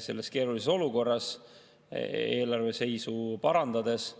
Selles keerulises olukorras eelarveseisu parandades